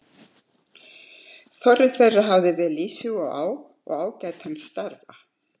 Þorri þeirra hafði vel í sig og á og ágætan starfa.